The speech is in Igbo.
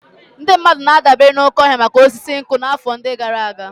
Ndị mmadụ na-adabere n'oké ọhịa maka osisi.